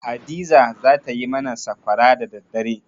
Hadiza za ta yi mana sakwara da daddare.